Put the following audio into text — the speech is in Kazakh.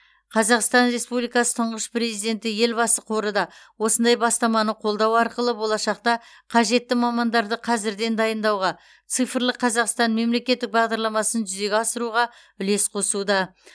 қазақстан республикасы тұңғыш президенті елбасы қоры да осындай бастаманы қолдау арқылы болашақта қажетті мамандарды қазірден дайындауға цифрлық қазақстан мемлекеттік бағдарламасын жүзеге асыруға үлес қосуда